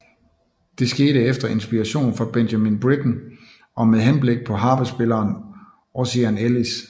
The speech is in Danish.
Det skete efter inspiration fra Benjamin Britten og med henblik på harpespilleren Ossian Ellis